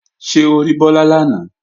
Ṣé o rí Bọ́lá lánàá?